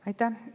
Aitäh!